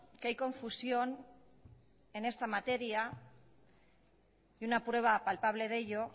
que hay confusión en esta materia y una prueba palpable de ello